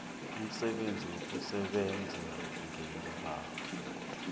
umsebenzi wokusebenza ngeembawo